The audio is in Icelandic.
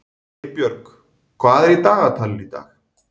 Geirbjörg, hvað er í dagatalinu í dag?